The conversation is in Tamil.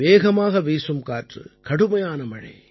வேகமாக வீசும் காற்று கடுமையான மழை